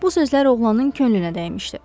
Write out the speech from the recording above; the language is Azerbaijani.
Bu sözlər oğlanın könlünə dəymişdi.